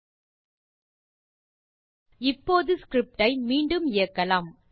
from pylab import star இப்போது script ஐ மீண்டும் இயக்கலாம்